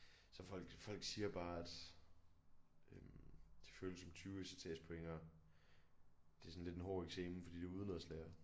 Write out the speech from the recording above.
Så folk folk siger bare at øh det føles som 20 ECTS point og det er sådan lidt en hård eksamen fordi det er udenadslære